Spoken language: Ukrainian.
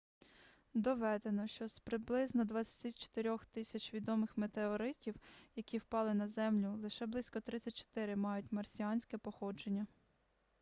доведено що з приблизно 24000 відомих метеоритів які впали на землю лише близько 34 мають марсіанське походження